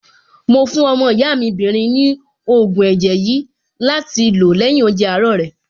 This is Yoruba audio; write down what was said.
Mo fún ọmọ ìyá mi 'bìnrin ní ògùn ẹ̀jẹ̀ yìí láti lò lẹ́yìn oúnjẹ àárọ̀ rẹ̀.